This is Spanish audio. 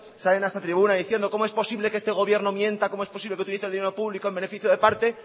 salen a esta tribuna diciendo cómo es posible que este gobierno mienta cómo es posible que utilice el dinero público en beneficio de parte